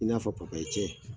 I n'a fɔ cɛ.